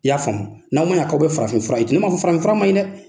I y'a faamuya n'aw man ɲa k'aw bɛ farafi fura ne man fɔ farafin fura man ɲi ye dɛ.